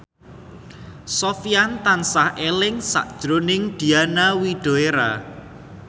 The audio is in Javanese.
Sofyan tansah eling sakjroning Diana Widoera